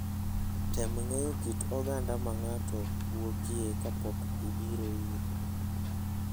Tem ng'eyo kit oganda ma ng'ato wuokie kapok ibiro ire.